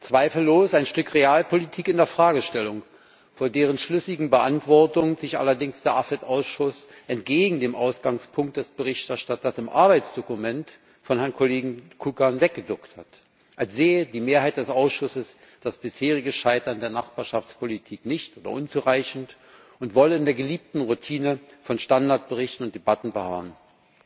Zweifellos ein Stück Realpolitik in der Fragestellung, vor deren schlüssiger Beantwortung sich allerdings der AFET Ausschuss entgegen dem Ausgangspunkt des Berichterstatters im Arbeitsdokument des Herrn Kollegen Kukan weggeduckt hat, als sähe die Mehrheit des Ausschusses das bisherige Scheitern der Nachbarschaftspolitik nicht oder unzureichend und wolle in der geliebten Routine von Standardberichten und —debatten verharren.